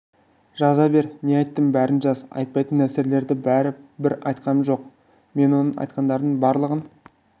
жаза бер не айттым бәрін жаз айтпайтын нәрселерді бәрі бір айтқаным жоқ мен оның айтқандарының барлығын